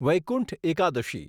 Vaikuntha Ekadashi